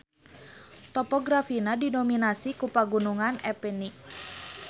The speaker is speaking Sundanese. Topografina didominasi ku Pagunungan Apennine.